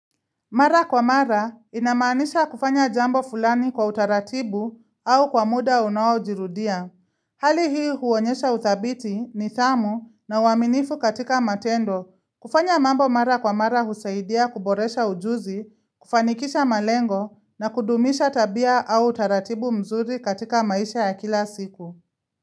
Mara kwa mara inamaanisha kufanya jambo fulani kwa utaratibu au kwa muda unaojirudia. Hali hii huonyesha uthabiti nidhamu na uaminifu katika matendo kufanya mambo mara kwa mara husaidia kuboresha ujuzi, kufanikisha malengo na kudumisha tabia au utaratibu mzuri katika maisha ya kila siku.